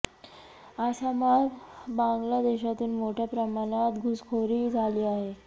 आसामात बांगला देशातून मोठ्या प्रमाणात घुसखोरी झाली आहे